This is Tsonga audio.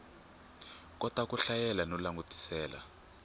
kota ku hlayela no langutisela